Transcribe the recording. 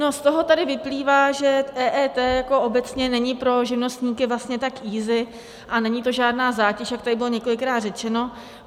No, z toho tady vyplývá, že EET jako obecně není pro živnostníky vlastně tak easy, a není to žádná zátěž, jak tady bylo několikrát řečeno.